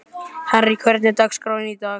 Henrý, hvernig er dagskráin í dag?